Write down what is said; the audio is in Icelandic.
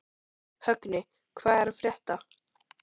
Högni, hvað er að frétta?